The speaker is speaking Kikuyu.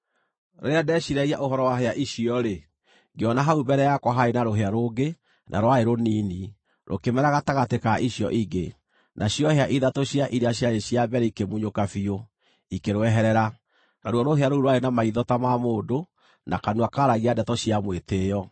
“Rĩrĩa ndeciiragia ũhoro wa hĩa icio-rĩ, ngĩona hau mbere yakwa harĩ na rũhĩa rũngĩ, na rwarĩ rũnini, rũkĩmera gatagatĩ ka icio ingĩ; nacio hĩa ithatũ cia iria ciarĩ cia mbere ikĩmunyũka biũ, ikĩrweherera. Naruo rũhĩa rũu rwarĩ na maitho ta ma mũndũ na kanua kaaragia ndeto cia mwĩtĩĩo.